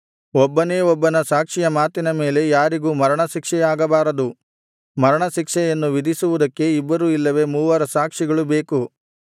ಒಬ್ಬನೇ ಒಬ್ಬನ ಸಾಕ್ಷಿಯ ಮಾತಿನ ಮೇಲೆ ಯಾರಿಗೂ ಮರಣಶಿಕ್ಷೆಯಾಗಬಾರದು ಮರಣಶಿಕ್ಷೆಯನ್ನು ವಿಧಿಸುವುದಕ್ಕೆ ಇಬ್ಬರು ಇಲ್ಲವೆ ಮೂವರ ಸಾಕ್ಷಿಗಳು ಬೇಕು